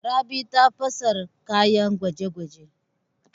Rabi ta fasa kayan gwaje-gwaje.